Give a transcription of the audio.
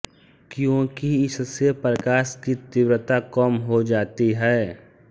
क्योंकि इससे प्रकाश की तीव्रता कम हो जाती है